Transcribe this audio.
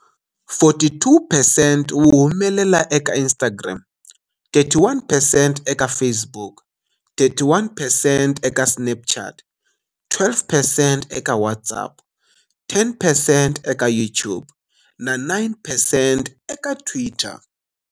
42 percent, wu humelela eka Instagram, 31 percent eka Facebook, 31 percent eka Snapchat, 12 percent eka WhatsApp, 10 percent eka YouTube na 9 percent eka Twitter.